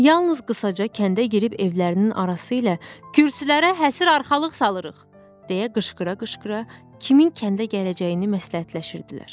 Yalnız qısaca kəndə girib evlərinin arası ilə kürsülərə həsir arxalıq salırıq, deyə qışqıra-qışqıra kimin kəndə gələcəyini məsləhətləşirdilər.